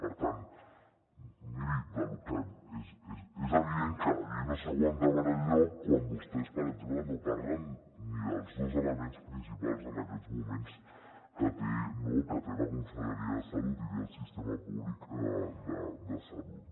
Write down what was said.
per tant miri és evident que la llei no s’aguanta per enlloc quan vostès per exemple no parlen ni dels dos elements principals en aquests moments que té la conselleria de salut i té el sistema públic de salut